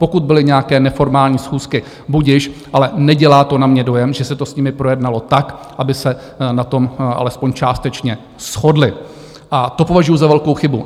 Pokud byly nějaké neformální schůzky, budiž, ale nedělá to na mě dojem, že se to s nimi projednalo tak, aby se na tom alespoň částečně shodli, a to považuji za velkou chybu.